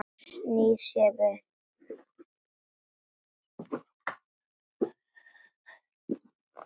Snýr sér við.